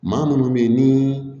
Maa munnu be yen ni